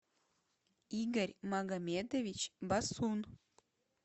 игорь магомедович басун